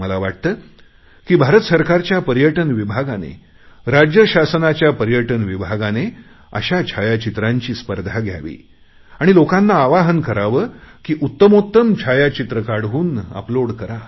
मला वाटते की भारत सरकारच्या पर्यटन विभागाने राज्य शासनाच्या पर्यटन विभागाने अशा छायाचित्रांची स्पर्धा घ्यावी आणि लोकांना आवाहन करावे की उत्तमोत्तम छायाचित्र काढून अपलोड करा